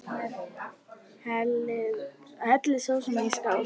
Hellið sósunni í skál.